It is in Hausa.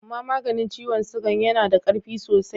Ama maganin ciwon sugan ya na da karfi sosai.